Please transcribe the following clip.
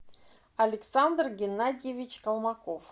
александр геннадьевич колмаков